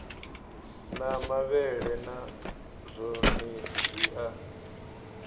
na mavhele na zwonezwi a